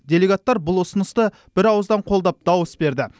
делегаттар бұл ұсынысты бірауыздан қолдап дауыс берді